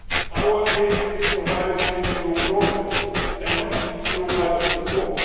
courts. Our aid is provided through projects and not through budget